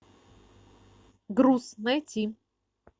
груз найти